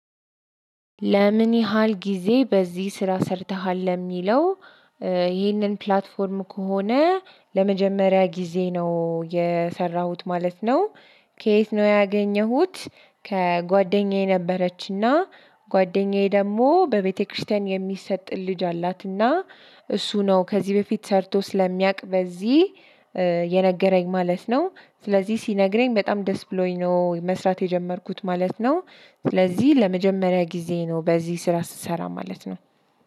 ለምን ያህል ጊዜ በዚህ ስራ ሰርተሃል ለሚለው? ይህንን ፕላትፎርም ከሆነ ለመጀመሪያ ጊዜ ነው የሰራሁት ማለት ነው። ከየት ነው ያገኘሁት? ከጓደኛዬ ነበረች እና ጓደኛዬ ደግሞ በቤተክርስቲያን የሚሰጥን ልጅ አላትና። እሱ ነው ከዚህ በፊት ሰርቶ ስለሚያውቅ በዚህ የነገረኝ ማለት ነው። ስለዚህ ሲነግረኝ በጣም ደስ ብሎኝ ነው መስራት የጀመርኩት ማለት ነው። ስለዚህ ለመጀመሪያ ጊዜ ነው በዚህ ስራ ስሰራ ማለት ነው።